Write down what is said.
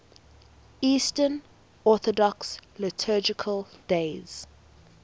eastern orthodox liturgical days